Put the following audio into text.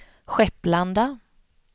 Skepplanda